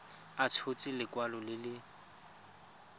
a tshotse lekwalo le le